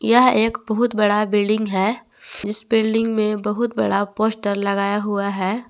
यह एक बहुत बड़ा बिल्डिंग है इस बिल्डिंग में बहुत बड़ा पोस्टर लगाया हुआ है।